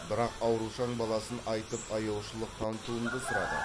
бірақ аурушаң баласын айтып аяушылық танытуымды сұрады